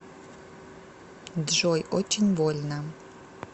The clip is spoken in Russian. джой очень больно